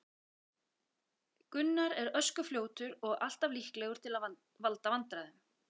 Gunnar er ösku fljótur og alltaf líklegur til að valda vandræðum.